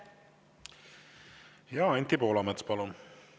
Anti Poolamets, palun!